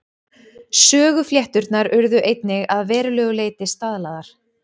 Söguflétturnar urðu einnig að verulegu leyti staðlaðar.